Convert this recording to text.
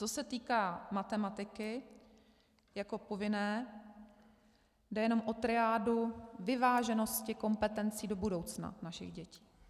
Co se týká matematiky jako povinné, jde jenom o triádu vyváženosti kompetencí do budoucna našich dětí.